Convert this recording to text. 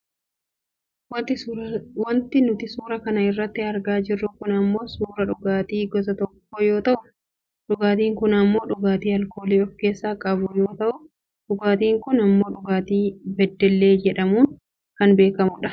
Wanti nuti suura kana irratti argaa jirru kun ammoo suuraa dhugaatii gosa tokkoo yoo ta'u dhugaatiin kun ammoo dhugaatii aalkoolii of keessaa qabu yoo ta'u dhugaatiin kun ammoo dhugaatii beddellee jedhamudha.